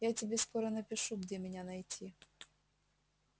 я тебе скоро напишу где меня найти